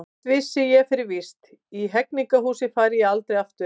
Eitt vissi ég fyrir víst: í Hegningarhúsið færi ég aldrei aftur.